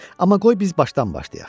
Amma qoy biz başdan başlayaq.